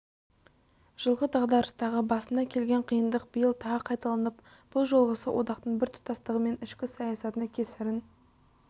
жылғы дағдарыстағы басына келген қиындық биыл тағы қайталанып бұл жолғысы одақтың біртұтастығы мен ішкі саясатына кесірін